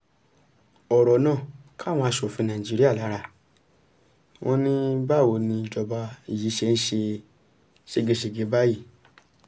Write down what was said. ọ̀rọ̀ náà ká àwọn asòfin nàìjíríà lára wọn ní báwo ni ìjọba yìí ṣe ń ṣe ségesège báyìí